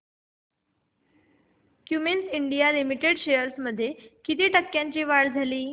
Cummins India limited shares मध्ये किती टक्क्यांची वाढ झाली